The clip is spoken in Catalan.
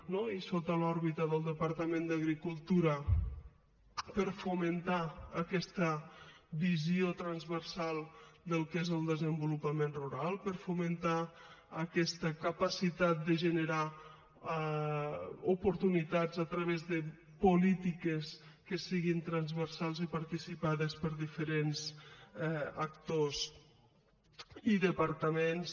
no i sota l’òrbita del departament d’agricultura per a fomentar aquesta visió transversal del que és el desenvolupament rural per a fomentar aquesta capacitat de generar oportunitats a través de polítiques que siguin transversals i participades per diferents actors i departaments